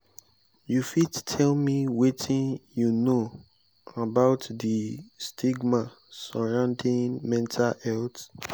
you fit tell me wetin you know about di stigma surrounding mental health?